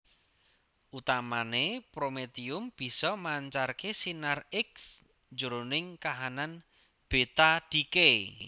Utamané prometium bisa mancarké sinar X jroning kahanan beta decay